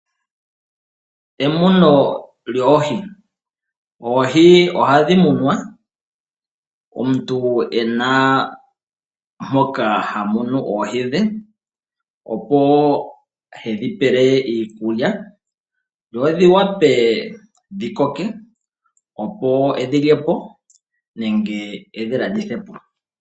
Emuno lyoohi, oohi ohadhi munwa omuntu ena mpoka ha munu oohi dhe opo hedhi pele iikulya dho dhi wape dhi koke opo edhi lyepo nenge edhi landithe po.